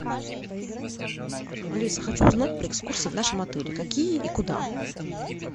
алиса хочу узнать про экскурсии в нашем отеле какие и куда